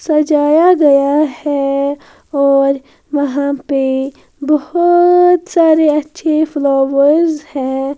सजाया गया है और वहाँ पे बहुत सारे अच्छे फ्लावर्स हैं।